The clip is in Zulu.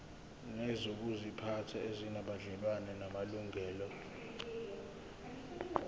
nezokuziphatha ezinobudlelwano namalungelo